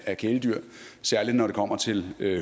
af kæledyr særlig når det kommer til